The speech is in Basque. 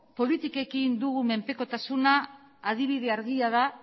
politikekin dugun menpekotasuna adibide argia da